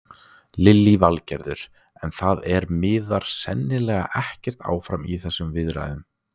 Lillý Valgerður: En það er, miðar sennilega ekkert áfram í þessum viðræðum?